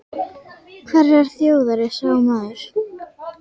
Hverrar þjóðar er sá maður?